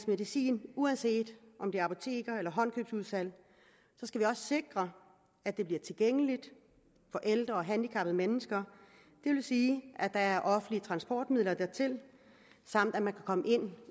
medicin uanset om det er apoteker eller håndkøbsudsalg skal vi også sikre at de bliver tilgængelige for ældre og handicappede mennesker det vil sige at der er offentlige transportmidler dertil samt at man kan komme ind